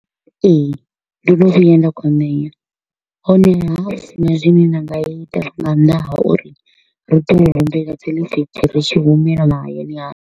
Ee, ndo no vhuya nda kwamea, honeha ho vha hu sina zwine nda nga ita nga nnḓa ha uri ro ḓo humbela dzi lift ri tshi humela mahayani .